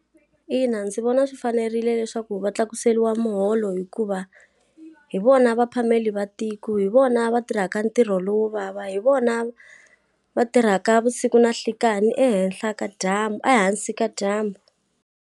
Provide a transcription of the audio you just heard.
Ina, ndzi vona swi fanerile leswaku va tlakuseriwa muholo hikuva, hi vona va phameli va tiko, hi vona va tirhaka ntirho lowo vava, hi vona va tirhaka vusiku na nhlikani ehenhla ka dyambu ehansi ka dyambu.